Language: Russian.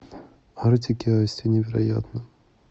артик и асти невероятно